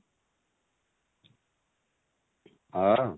ହଁ?